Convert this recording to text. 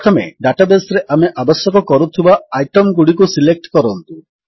ପ୍ରଥମେ ଡାଟାବେସ୍ ରେ ଆମେ ଆବଶ୍ୟକ କରୁଥିବା ଆଇଟମଗୁଡ଼ିକୁ ସିଲେକ୍ଟ କରନ୍ତୁ